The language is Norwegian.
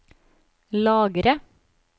lagre